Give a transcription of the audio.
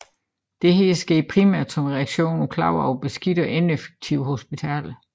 Dette sker primært som reaktion på klager over beskidte og ineffektive hospitaler